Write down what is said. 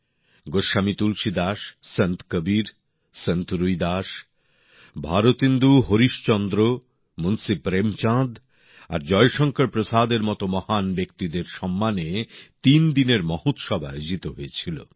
গোস্বামী তুলসীদাস সন্ত কবীর সন্ত রুইদাস ভারতেন্দু হরিশ্চন্দ্র মুন্সী প্রেমচাঁদ আর জয়শঙ্কর প্রসাদের মত মহান ব্যক্তিদের সম্মানে তিন দিনের মহোৎসব আয়োজিত হয়েছিল